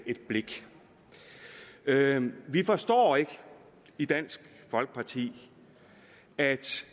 et blik vi forstår ikke i dansk folkeparti at